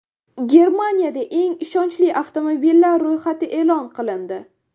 Germaniyada eng ishonchli avtomobillar ro‘yxati e’lon qilindi.